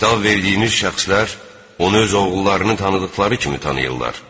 Kitab verdiyiniz şəxslər onu öz oğullarını tanıdıqları kimi tanıyırlar.